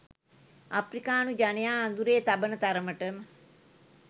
අප්‍රිකානු ජනයා අඳුරේ තබන තරමට